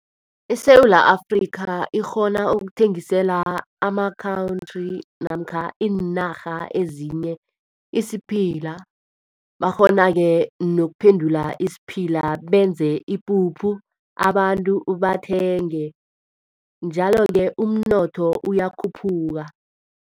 ISewula Afrika ikghona ukuthengisela ama-country namkha iinarha ezinye isiphila. Bakghona-ke nokuphendula isiphila benze ipuphu abantu bathenge, njalo-ke umnotho uyakhuphuka.